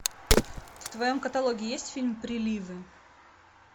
в твоем каталоге есть фильм приливы